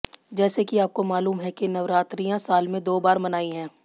जैसे कि आपको मालूम है कि नवरात्रियां साल में दो बार मनाई है